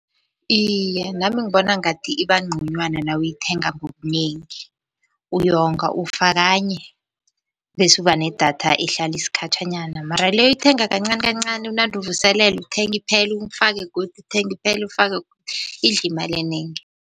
Iye, nami ngibona ngathi iba nconywana nawuyithenga ngobunengi, uyonga ufa kanye. Bese uba nedatha ehlala isikhatjhanyana mara le oyithenga kancani kancani unande uvuselela, uthenge iphele ufake godu, uthenge iphele ufake godu, idla imali enengi.